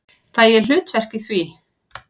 Fæ ég hlutverk í því?